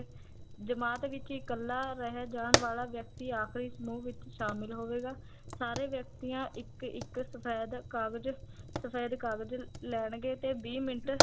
ਜਮਾਤ ਵਿੱਚ ਇਕੱਲਾ ਰਹਿ ਜਾਣ ਵਾਲਾ ਵਿਅਕਤੀ ਆਖਰੀ ਸਮੂਹ ਵਿੱਚ ਸ਼ਾਮਿਲ ਹੋਵੇਗਾ ਸਾਰੇ ਵਿਅਕਤੀਆਂ ਇੱਕ ਇੱਕ ਸਫੈਦ ਕਾਗਜ਼ ਸਫੈਦ ਕਾਗਜ਼ ਲੈਣਗੇ ਤੇ ਵੀਹ ਮਿੰਟ